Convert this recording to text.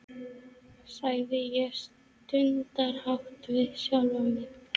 sagði ég stundarhátt við sjálfa mig.